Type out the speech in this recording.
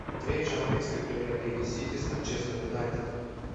встреча английской премьер лиги сити с манчестер юнайтед